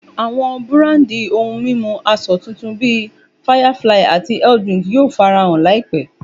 Àwọn búrándi ohun mímu asọ titun bí Firefly ati health drink yóò farahàn láìpé